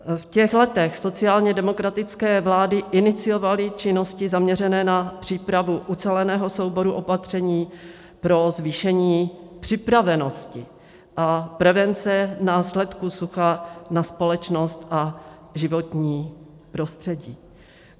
V těch letech sociálně demokratické vlády iniciovaly činnosti zaměřené na přípravu uceleného souboru opatření pro zvýšení připravenosti a prevence následků sucha na společnost a životní prostředí.